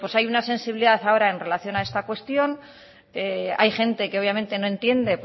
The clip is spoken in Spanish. hay una sensibilidad ahora en relación a esta cuestión hay gente que obviamente no entiende